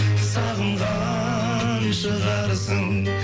сағынған шығарсың